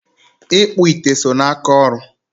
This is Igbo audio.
ịkpụ ite so n'aka ọrụ.